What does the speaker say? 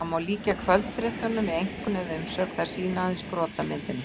Það má því líkja kvöldfréttunum við einkunn eða umsögn- þær sýna aðeins brot af myndinni.